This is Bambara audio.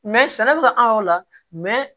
sɛnɛ bɛ ka an yɔrɔ o la